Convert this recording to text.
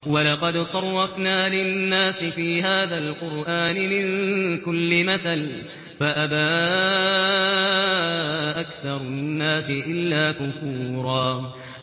وَلَقَدْ صَرَّفْنَا لِلنَّاسِ فِي هَٰذَا الْقُرْآنِ مِن كُلِّ مَثَلٍ فَأَبَىٰ أَكْثَرُ النَّاسِ إِلَّا كُفُورًا